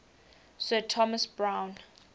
sir thomas browne